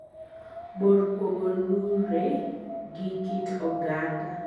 bor kuogo lure gi kit oganda.